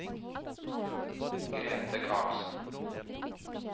Grete Karlsen